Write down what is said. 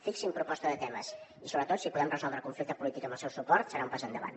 fixin proposta de temes i sobretot si podem resoldre el conflicte polític amb el seu suport serà un pas endavant